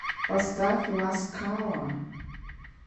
поставь ласкала